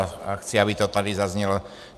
A chci, aby to tady zaznělo.